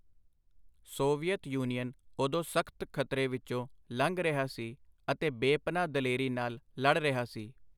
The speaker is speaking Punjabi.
ਸੋਵੀਅਤ ਯੁਨੀਅਨ ਓਦੋਂ ਸਖਤ ਖਤਰੇ ਵਿਚੋਂ ਲੰਘ ਰਿਹਾ ਸੀ ਅਤੇ ਬੇਪਨਾਹ ਦਲੇਰੀ ਨਾਲ ਲੜ ਰਿਹਾ ਸੀ.